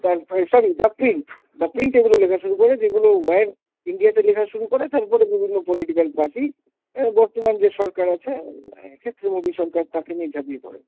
তারপরে sorry The Print, The Print এগুলো লেখা শুরু করে যেগুলো Wire India তে লেখা শুরু করে, তারপরে বিভিন্ন political party অ্যাঁ বর্তমান যে সরকার আছে অ্যাঁ এক্ষেত্রে মোদী সরকার তাকে নিয়ে ঝাঁপিয়ে পড়ে।